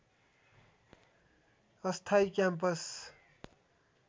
अस्थायी क्याम्पस